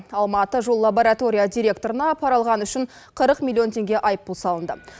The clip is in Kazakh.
алматыжоллаборатория директорына пара алғаны үшін қырық миллион теңге айыппұл салынды